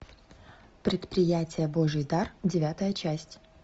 предприятие божий дар девятая часть